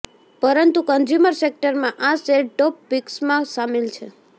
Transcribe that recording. પરંતુ કન્ઝ્યુમર સેક્ટરમાં આ શેર ટોપ પિક્સમાં સામેલ છે